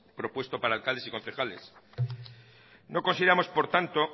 propuesto para alcaldes y concejales no consideramos por tanto